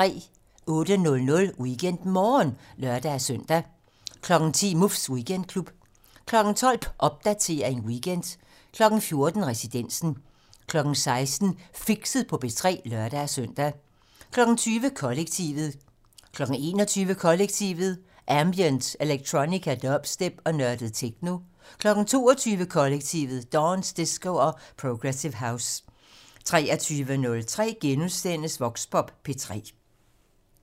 08:00: WeekendMorgen (lør-søn) 10:00: Muffs Weekendklub 12:00: Popdatering weekend 14:00: Residensen 16:00: Fixet på P3 (lør-søn) 20:00: Kollektivet 21:00: Kollektivet: Ambient, electronica, dubstep og nørdet techno 22:00: Kollektivet: Dance, disco og progressive house 23:03: Voxpop P3 *